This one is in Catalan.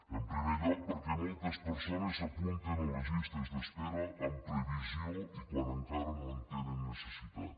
en primer lloc perquè moltes persones s’apunten a les llistes d’espera amb previsió i quan encara no en tenen necessitat